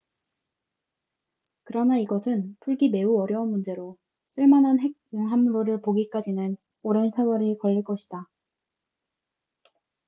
그러나 이것은 풀기 매우 어려운 문제로 쓸만한 핵 융합로를 보기까지는 오랜 세월이 걸릴 것이다